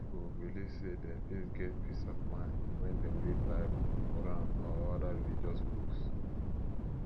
pipo belive sey dem fit get peace of mind when dem read bible quran or oda religious books